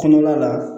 Kɔnɔla la